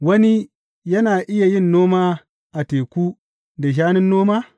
Wani yana iya yin noma a teku da shanun noma?